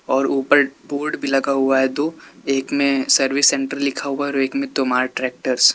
और ऊपर बोर्ड भी लगा हुआ है दो एक में सर्विस सेंटर लिखा हुआ और एक में तोमार ट्रैक्टर्स --